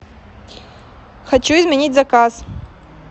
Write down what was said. хочу изменить заказ